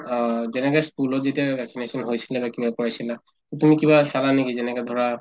অ, যেনেকে ই school ত যেতিয়া vaccination হৈছিলে বা কৰাইছিলা তুমি কিবা চালা নেকি যেনেকে ধৰা